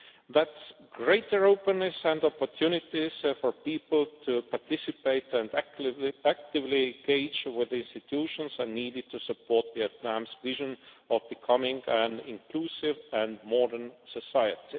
that greater openness and opportunities for people to participate and actively engage with the institutions are needed to support Vietnam's vision of becoming an inclusive and modern society.